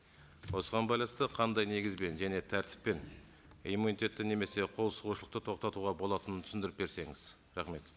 осыған байланысты қандай негізбен және тәртіппен иммунитетті немесе қолсұғушылықты тоқтатуға болатынын түсіндіріп берсеңіз рахмет